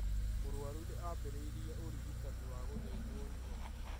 Mũrwaru nĩambĩrĩirie ũrigitani wa gũthĩnjwo higo